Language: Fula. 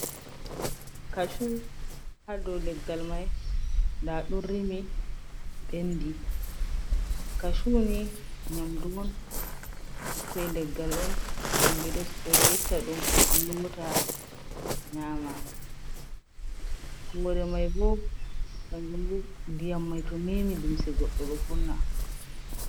Kashuu ha dou leggal mai, nda ɗum rimi, ɓendi. Kashuu ni nyamdu on, ɓikkoi leggal on ɓe ɗo itta ɗum, lota, nyama. Hore mai bo kanjum ndiyam mai to memi limse goɗɗo ɗo vonna.